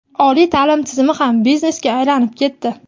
Oliy ta’lim tizimi ham biznesga aylanib ketdi.